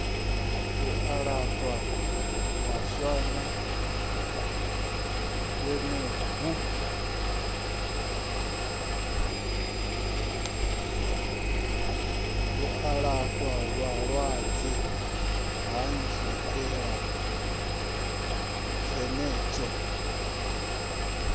u alafha vhalwadze hanziela dzenedzo